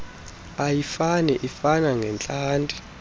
ayifani ifana ngeentlanti